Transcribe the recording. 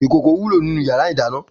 ikókó wúló ninú iyàrá idàná